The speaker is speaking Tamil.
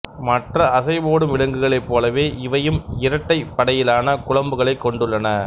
மற்ற அசை போடும் விலங்குகளைப் போலவே இவையும் இரட்டைப் படையிலான குளம்புகளைக் கொண்டுள்ளன